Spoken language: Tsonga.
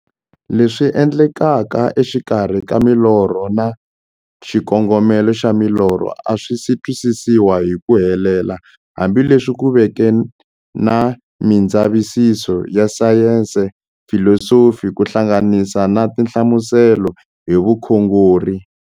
Leswi endlekaka exikarhi ka milorho na xikongomelo xa milorho a swisi twisisiwa hi ku helela, hambi leswi ku veke na mindzavisiso ya sayensi, filosofi ku hlanganisa na tinhlamuselo hi vukhongori.